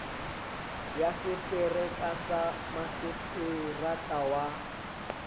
ya setereka sa maseterata wa